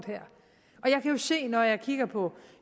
er kan jo se når jeg kigger på